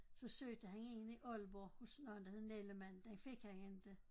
Så søgte han en i Aalborg hos noget der hed Nellemann den fik han inte